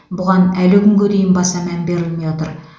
бұған әлі күнге дейін баса мән берілмей отыр